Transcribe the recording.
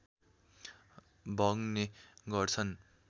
बग्ने गर्छन्